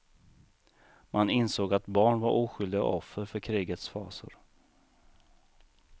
Man insåg att barn var oskyldiga offer för krigets fasor.